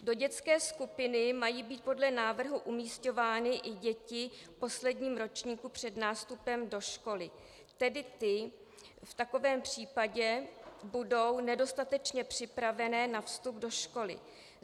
Do dětské skupiny mají být podle návrhu umísťovány i děti v posledním ročníku před nástupem do školy, tedy ty v takovém případě budou nedostatečně připravené na vstup do školy.